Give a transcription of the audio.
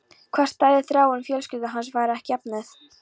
Hvar stæði Þráinn ef fjölskylda hans væri ekki efnuð?